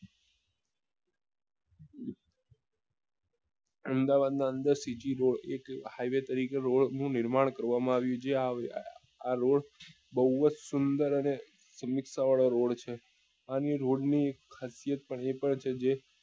અમદાવાદ ની અંદર શ્રીજી રોડ એક high way તરીકે રોડ નું નિર્માણ કરવા આવ્યું છે આ રોડ બઉ જ સુંદર અને વાળો રોડ છે અને એ રોડ ની ખાસિયત એ પણ છે જે